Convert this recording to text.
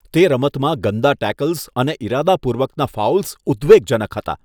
તે રમતમાં ગંદા ટેકલ્સ અને ઈરાદાપૂર્વકના ફાઉલ્સ ઉદ્વેગજનક હતા.